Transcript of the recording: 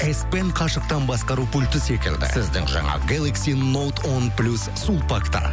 эспен қашықтан басқару пульті секілді сіздің жаңа гелакси ноут он плюс сулпакта